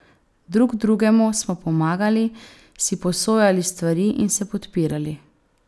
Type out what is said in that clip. Drug drugemu smo pomagali, si posojali stvari in se podpirali.